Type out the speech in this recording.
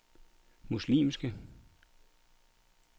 muslimske